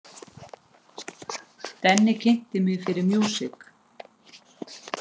Denni kynnti mig fyrir músík.